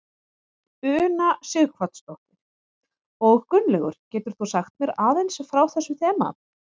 Una Sighvatsdóttir: Og Gunnlaugur getur þú sagt mér aðeins frá þessu þema?